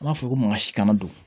An b'a fɔ ko maka si kana don